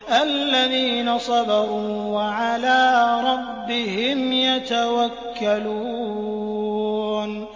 الَّذِينَ صَبَرُوا وَعَلَىٰ رَبِّهِمْ يَتَوَكَّلُونَ